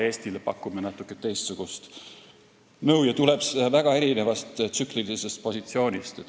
See tuleb väga erinevast tsüklilisest positsioonist.